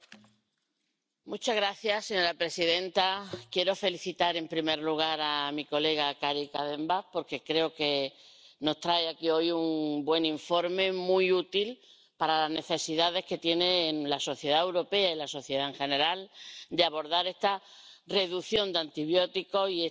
Señora presidenta, quiero felicitar, en primer lugar, a mi colega Karin Kadenbach, porque creo que nos trae aquí hoy un buen informe, muy útil para las necesidades que tienen la sociedad europea y la sociedad en general de abordar esta reducción de antibióticos y esta resistencia antimicrobiana.